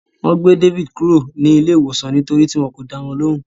Wọ́n gbé David kúrò ní ilé iwosan nítorí tí wọn kò dá wọn lóhùn.